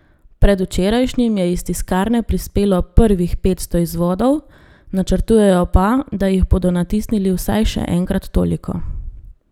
Predvčerajšnjim je iz tiskarne prispelo prvih petsto izvodov, načrtujejo pa, da jih bodo natisnili vsaj še enkrat toliko.